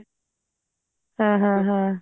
ਹਾਂ ਹਾਂ ਹਾਂ